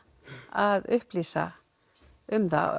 að upplýsa um það